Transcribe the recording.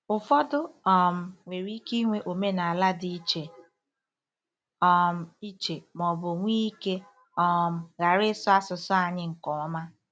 Ụfọdụ um nwere ike inwe omenala dị iche um iche ma ọ bụ nwee ike um ghara ịsụ asụsụ anyị nke ọma.